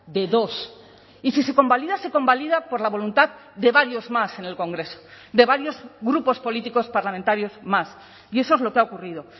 de dos y si se convalida se convalida por la voluntad de varios más en el congreso de varios grupos políticos parlamentarios más y eso es lo que ha ocurrido